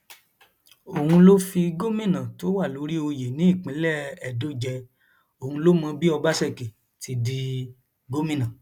òun ló fi gómìnà tó wà lórí oyè ní ìpínlẹ edo jẹ òun ló mọ bí ọbaṣẹkí ti di gómìnà